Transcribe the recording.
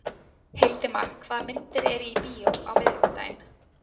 Hildimar, hvaða myndir eru í bíó á miðvikudaginn?